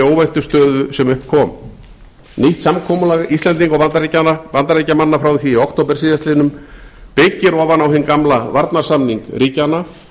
óvæntu stöðu sem upp kom nýtt samkomulag íslendinga og bandaríkjamanna frá því í okt síðastliðinn byggir ofan á hinn gamla varnarsamning ríkjanna